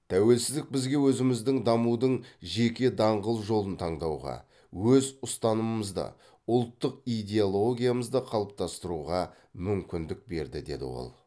тәуелсіздік бізге өзіміздің дамудың жеке даңғыл жолын таңдауға өз ұстанымымызда ұлттық идеологиямызды қалыптастыруға мүмкіндік берді деді ол